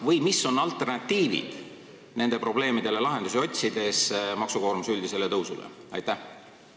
Või mis on alternatiivid, kui otsida lahendusi nendele probleemidele, maksukoormuse üldisele tõusule jne?